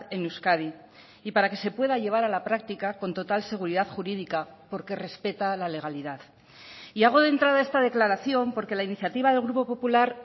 en euskadi y para que se pueda llevar a la práctica con total seguridad jurídica porque respeta la legalidad y hago de entrada esta declaración porque la iniciativa del grupo popular